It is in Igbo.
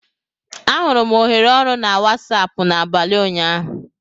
Ahụrụ m ohere ọrụ na Wasapụ n'abalị ụnyaahụ